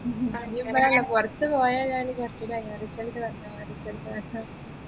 ഇനി നമ്മളെല്ലും പുറത്തു പോയാലാ first result വന്നോ result വന്നോ